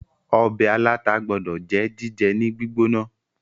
ọbẹ̀ aláta gbódò jẹ́ jíjẹ ní gbígbóná